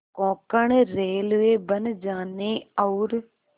Konkan railway बन जाने और